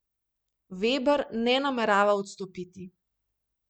Veber ne namerava odstopiti.